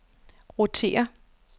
rotér